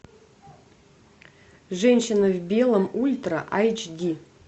женщина в белом ультра айч ди